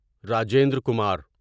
Rajendra Kumar